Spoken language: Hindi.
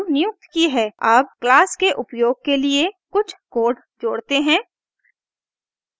अब क्लास के उपयोग के लिए कुछ कोड जोड़ते हैं